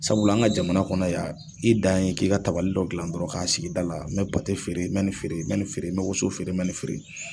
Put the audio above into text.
Sabula an ka jamana kɔnɔ yan i dan ye k'i ka tabali dɔ gilan dɔrɔn k'a sigi dala mɛ pate feere mɛ nin feere mɛ ni feere mɛ woso feere mɛ ni feere.